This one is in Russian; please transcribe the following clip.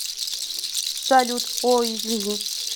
салют о извини